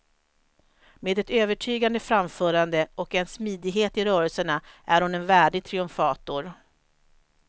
Med ett övertygande framförande och en smidighet i rörelserna är hon en värdig triumfator.